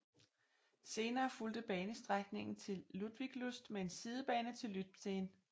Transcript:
Senere fulgte banestrækningen til Ludwigslust med en sidebane til Lübtheen